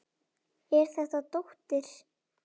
Er þetta dóttir.